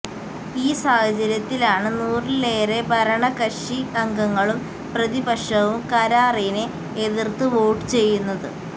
ഈ സാഹചര്യത്തിലാണ് നൂറിലേറെ ഭരണകക്ഷി അംഗങ്ങളും പ്രതിപക്ഷവും കരാറിനെ എതിര്ത്ത് വോട്ടു ചെയ്യുന്നത്